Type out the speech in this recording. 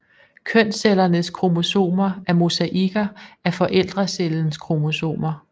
Kønscellernes kromosomer er mosaikker af forældrecellens kromosomer